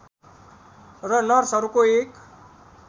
र नर्सहरूको एक